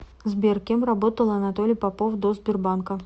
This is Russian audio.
сбер кем работал анатолий попов до сбербанка